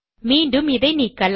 மீண்டும் இதை நீக்கலாம்